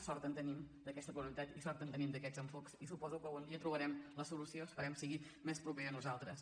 sort en tenim d’aquesta pluralitat i sort en tenim d’aquests enfoca·ments i suposo que algun dia trobarem la solució es·perem que sigui més propera a nosaltres